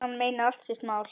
Hann meinar allt sitt mál.